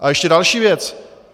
A ještě další věc.